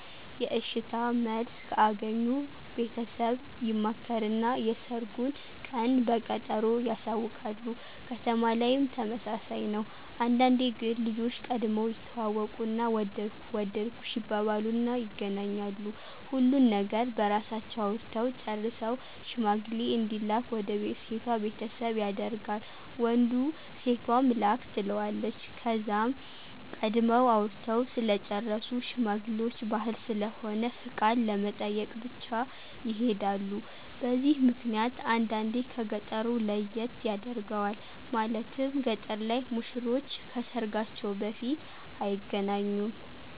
የእሽታ መልስ ከአገኙ ቤተሰብ ይማከርና የሰርጉን ቀን በቀጠሮ ያሳውቃሉ። ከተማ ላይም ተመሳሳይ ነው። አንዳንዴ ግን ልጆች ቀድመው ይተዋወቁና ወደድኩህ ወደድኩሽ ይባባሉና ይገናኛሉ። ሁሉን ነገር በራሳቸው አውርተው ጨርሰው ሽማግሌ እንዲላክ ወደ ሴቷ ቤተሰብ ያደርጋል ወንዱ ሴቷም ላክ ትለዋለች። ከዛም ቀድመው አውርተው ስለጨረሱ ሽማግሌውች ባህል ስለሆነ ፍቃድ ለመጠየቅ ብቻ ይሔዳሉ። በዚህ ምክንያት አንዳንዴ ከ ገጠሩ ለየት ያደርገዋል። ማለትም ገጠር ላይ ሙሽሮች ከሰርጋቸው በፊት አይገናኙም።